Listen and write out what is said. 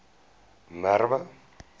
merwe